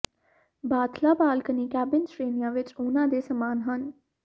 ਬਾਥਲਾਂ balcony cabin ਸ਼੍ਰੇਣੀਆਂ ਵਿਚ ਉਹਨਾਂ ਦੇ ਸਮਾਨ ਹਨ